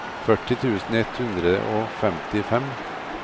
førti tusen ett hundre og femtifem